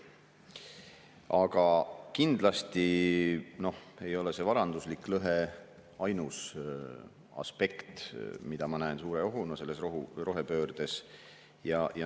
Aga kindlasti ei ole see varanduslik lõhe ainus aspekt, mida ma näen rohepöördes suure ohuna.